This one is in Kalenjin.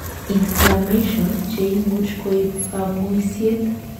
inflammation, cheimuch koib kamuiset